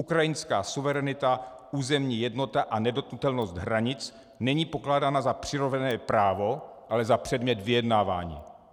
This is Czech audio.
Ukrajinská suverenita, územní jednota a nedotknutelnost hranic není pokládána za přirozené právo, ale za předmět vyjednávání.